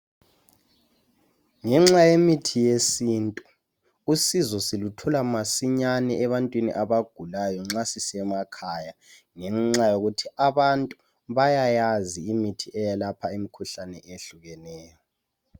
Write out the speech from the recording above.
Ngenxa yemithi yesintu usizo siluthola masinyane ebantwini abagulayo nxa sisemakhaya ngenxa yokuthi abantu bayayazi imithi eyelapha imikhuhlane ehlukeneyo.